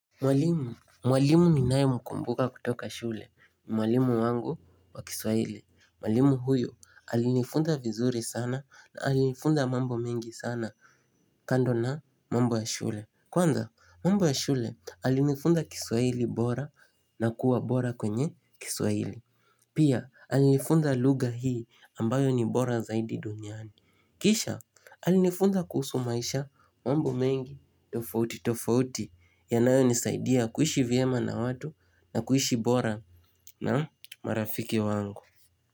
Mwalimu. Mwalimu ninayemkumbuka kutoka shule. Mwalimu wangu wa kiswahili. Mwalimu huyo alinifunza vizuri sana na alinifunza mambo mengi sana kando na mambo ya shule. Kwanza mambo ya shule alinifunza kiswahili bora na kuwa bora kwenye kiswahili. Pia alinifunza lugha hii ambayo ni bora zaidi duniani. Kisha alinifunza kuhusu maisha mambo mengi tofauti tofauti yanayonisaidia kuishi vyema na watu na kuishi bora na marafiki wangu.